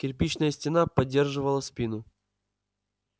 кирпичная стена поддерживала спину